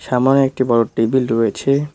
থানায় একটি বড় টেবিল রয়েছে।